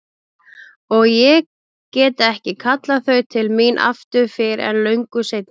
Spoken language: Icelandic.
Og ég get ekki kallað þau til mín aftur fyrr en löngu seinna.